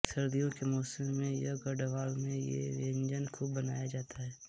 सर्दी के मौसम में यह गढ़वाल में ये व्यंजन खूब बनाया जाता है